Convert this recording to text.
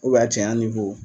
a cɛ ɲa